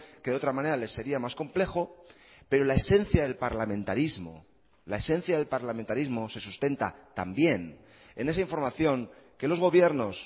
que de otra manera le sería más complejo pero la esencia del parlamentarismo la esencia del parlamentarismo se sustenta también en esa información que los gobiernos